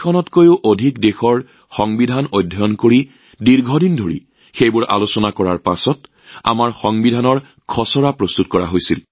৬০খনতকৈও অধিক দেশৰ সংবিধান অতি সুক্ষ্মভাৱে অধ্যয়ন কৰাৰ পিছত দীৰ্ঘদিনীয়া বিবেচনাৰ অন্তত আমাৰ সংবিধানৰ খচৰাটো প্ৰস্তুত কৰা হৈছিল